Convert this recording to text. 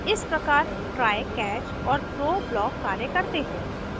इस प्रकार try catch और throw block कार्य करते हैं